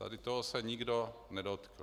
Tady toho se nikdo nedotkl.